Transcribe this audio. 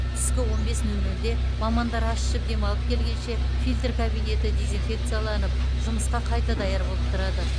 түскі он бес нөл нөлде мамандар ас ішіп демалып келгенше фильтр кабинеті дезинфекцияланып жұмысқа қайта даяр болып тұрады